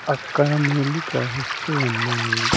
అక్కడ నీళ్లు ప్రవహిస్తూ ఉన్నాయి.